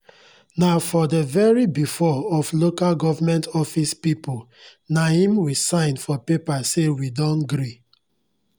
nah for dey very before of loka government office pipu naim we sign for paper say we don gree